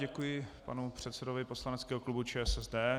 Děkuji panu předsedovi poslaneckého klubu ČSSD.